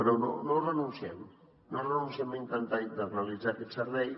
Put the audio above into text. però no renunciem no renunciem a intentar internalitzar aquest servei